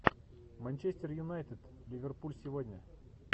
манчестер юнайтед ливерпуль сегодня